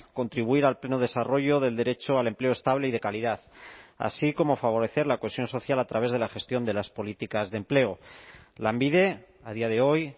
contribuir al pleno desarrollo del derecho al empleo estable y de calidad así como favorecer la cohesión social a través de la gestión de las políticas de empleo lanbide a día de hoy